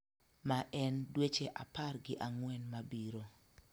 ma en dweche apar gi ang'wen mabiro